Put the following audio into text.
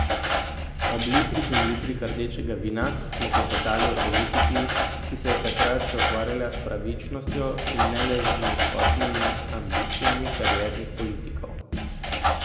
Ob litrih in litrih rdečega vina smo klepetali o politiki, ki se je takrat še ukvarjala s pravičnostjo in ne le z nizkotnimi ambicijami kariernih politikov.